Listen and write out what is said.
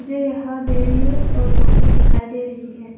मुझे यहां डेयरीमिल्क और चॉकलेट दिखाई दे रही है।